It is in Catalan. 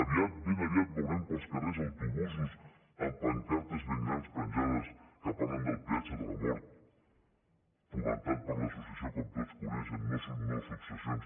aviat ben aviat veurem pels carrers autobusos amb pancartes ben grans penjades que parlen del peatge de la mort fomentat per l’associació com tots coneixen nosuccessions